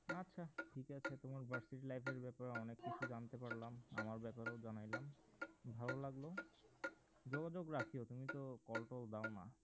আচ্ছা ঠিক আছে তোমার versity র life এর ব্যাপারে অনেক কিছু জানতে পারলাম আমার ব্যাপারেও জানাইলাম ভালো লাগলো যোগাযোগ রাখিও, তুমি তো call টল দাও না